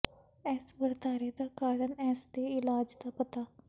ਇਸ ਵਰਤਾਰੇ ਦਾ ਕਾਰਨ ਇਸ ਦੇ ਇਲਾਜ ਦਾ ਪਤਾ